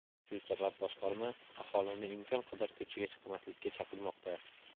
Shu sabab boshqarma aholini imkon qadar ko‘chaga chiqmaslikka chaqirmoqda.